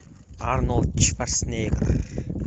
арнольд шварценеггер